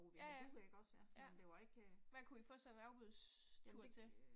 Ja ja, ja. Hvad kunne I få sådan en afbudstur til?